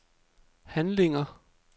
handlinger